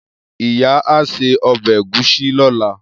Iya a se obe egusi lola.